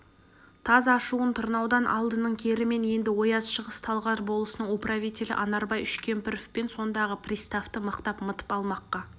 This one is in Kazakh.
таз ашуын тырнаудан алдының керімен енді ояз шығыс-талғар болысының управителі анарбай үшкемпіров пен сондағы приставты мықтап мытып алмаққа